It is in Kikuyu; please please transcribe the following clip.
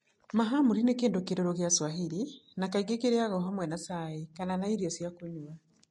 Mahamri, nĩ kĩndũ kĩrũrũ gĩa Swahili, na kaingĩ kĩrarĩaga hamwe na cai kana ta irio cia kũnyua.